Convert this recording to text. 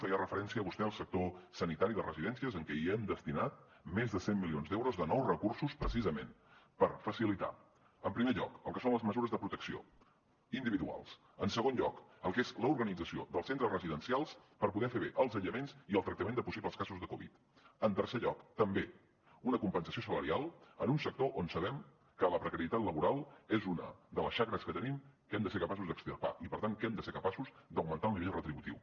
feia referència vostè al sector sanitari i de residències en què hem destinat més de cent milions d’euros de nous recursos precisament per facilitar en primer lloc el que són les mesures de protecció individuals en segon lloc el que és l’organització dels centres residencials per poder fer bé els aïllaments i el tractament de possibles casos de covid dinou en tercer lloc també una compensació salarial en un sector on sabem que la precarietat laboral és una de les xacres que tenim que hem de ser capaços d’extirpar i per tant que hem de ser capaços d’augmentar el nivell retributiu